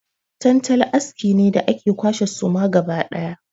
Tantali aski ne da ake kwashe suma gaba ɗaya.